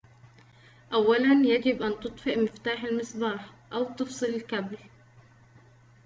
أولاً يجب أن تطفئ مفتاح المصباح أو تفصل الكابل